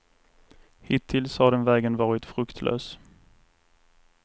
Hittills har den vägen varit fruktlös.